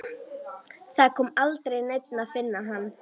Það kom aldrei neinn að finna hann.